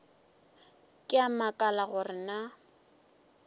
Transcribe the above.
ke a makala gore na